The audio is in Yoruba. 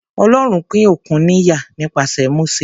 Ọlọ́run pín òkun níyà nípasẹ̀ Mósè.